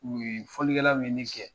U ye fɔlikɛla ninnu ye min kɛ